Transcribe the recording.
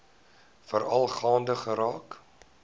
veral gaande geraak